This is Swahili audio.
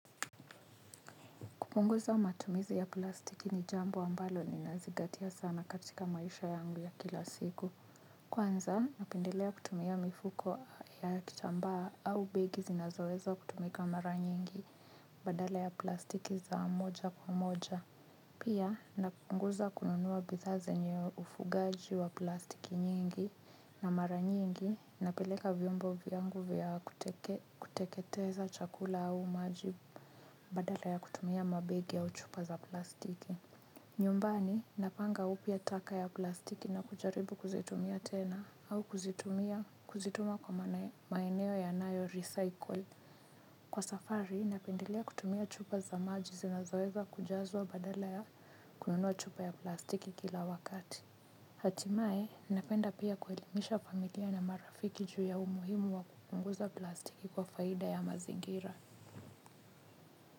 Kupunguza matumizi ya plastiki ni jambo ambalo ninazingatia sana katika maisha yangu ya kila siku. Kwanza, napendelea kutumia mifuko ya kitambaa au begi zinazoweza kutumika mara nyingi badala ya plastiki za moja kwa moja. Pia, napunguza kununuwa bidhaa zenye ufugaji wa plastiki nyingi na mara nyingi napeleka vyombo vyangu vya kuteketeza chakula au majivu. Badala ya kutumia mabegi ya au chupa za plastiki nyumbani napanga upya taka ya plastiki na kujaribu kuzitumia tena au kuzitumia kuzituma kwa maeneo ya nayo recycle. Kwa safari napendelea kutumia chupa za maji zinazoweza kujazwa badala ya kununua chupa ya plastiki kila wakati. Hatimaye napenda pia kuelimisha familia na marafiki juu ya umuhimu wa kupunguza plastiki kwa faida ya mazingira.